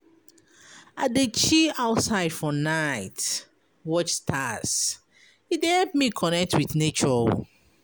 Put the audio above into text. I dey chill outside for night watch stars, e dey help me connect wit nature.